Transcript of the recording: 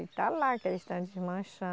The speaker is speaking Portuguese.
Ele está lá, que eles estão